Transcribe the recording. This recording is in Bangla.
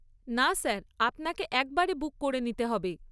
না স্যার, আপনাকে একবারে বুক করে নিতে হবে।